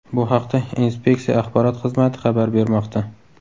Bu haqda inspeksiya axborot xizmati xabar bermoqda .